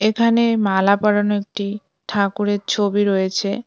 এখানে মালা পরানো একটি ঠাকুরের ছবি রয়েছে।